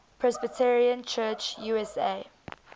presbyterian church usa